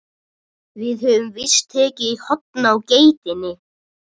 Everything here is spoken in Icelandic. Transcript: Við höfum víst tekið í horn á geitinni.